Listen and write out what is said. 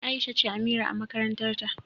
Aisha ce Amira a makarantar ta.